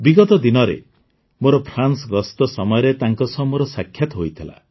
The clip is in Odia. ବିଗତ ଦିନରେ ମୋର ଫ୍ରାନ୍ସ ଗସ୍ତ ସମୟରେ ତାଙ୍କ ସହ ମୋର ସାକ୍ଷାତ ହୋଇଥିଲା